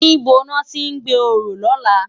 Nibó lòti n gbé óró lòlá?